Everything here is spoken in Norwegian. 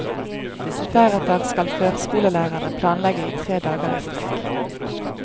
Deretter skal førskolelærerne planlegge i tre dager i strekk.